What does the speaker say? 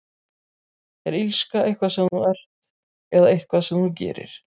Er illska eitthvað sem þú ert, eða eitthvað sem þú gerir?